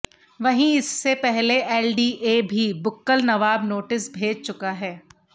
वहीँ इससे पहले एलडीए भी बुक्कल नवाब नोटिस भेज चुका है